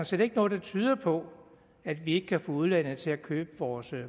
set ikke noget der tyder på at vi ikke kan få udlandet til at købe vores